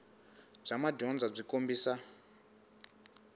bya madyondza byi kombisa